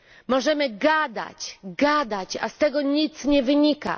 Możemy gadać, gadać, a z tego nic nie wynika.